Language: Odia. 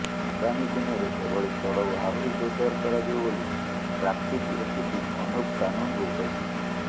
ଆଗାମୀ ଦିନରେ ଏଭଳି ଚଢ଼ଉ ଆହୁରି ଜୋରଦାର କରାଯିବ ବୋଲି ଟ୍ରାଫିକ୍ ଏସିପି ଅନୁପ କାନୁନଗୋ କହିଛନ୍ତି